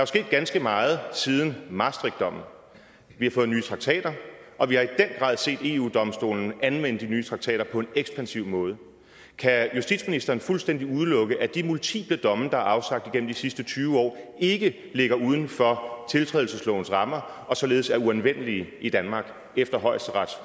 sket ganske meget siden maastrichtdommen vi har fået nye traktater og vi har i den grad set eu domstolen anvende de nye traktater på en ekspansiv måde kan justitsministeren fuldstændig udelukke at de multiple domme der er afsagt igennem de sidste tyve år ikke ligger uden for tiltrædelseslovens rammer og således er uanvendelige i danmark efter højesterets